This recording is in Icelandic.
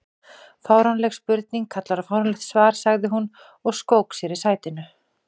Fáránleg spurning kallar á fáránlegt svar sagði hún og skók sér í sætinu.